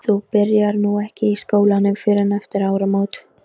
Þú byrjar nú ekki í skólanum fyrr en eftir áramótin.